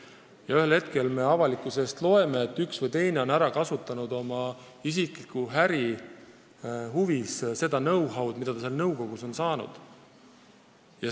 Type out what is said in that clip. Ja siis me ühel hetkel loeme kusagilt, et üks või teine on ära kasutanud oma isikliku äri huvides know-how'd, mis ta mingis nõukogus on saanud.